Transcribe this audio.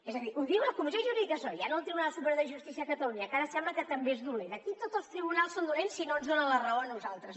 és a dir ho diu la comissió jurídica assessora ja no el tribunal superior de justícia de catalunya que ara sembla que també és dolent aquí tots els tribunals són dolents si no ens donen la raó a nosaltres